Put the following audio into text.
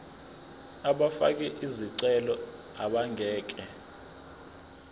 abafake izicelo abangeke